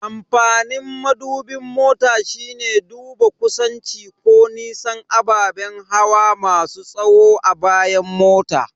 Amfanin madubin mota shine duba kusanci ko nisan ababen hawa masu tahowa a bayan mota.